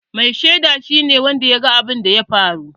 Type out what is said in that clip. Mai sheda shi ne wanda ya ga abunda ya faru